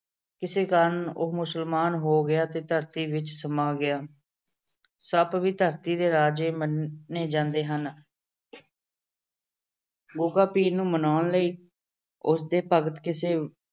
ਇਸੇ ਕਾਰਨ ਉਹ ਮੁਸਲਮਾਨ ਹੋ ਗਿਆ ਤੇ ਧਰਤੀ ਵਿੱਚ ਸਮਾ ਗਿਆ। ਸੱਪ ਵੀ ਧਰਤੀ ਦੇ ਰਾਜੇ ਮੰਨੇ ਜਾਂਦੇ ਹਨ। ਗੁੱਗਾ ਪੀਰ ਨੂੰ ਮਨਾਉਣ ਲਈ ਉਸ ਦੇ ਭਗਤ ਕਿਸੇ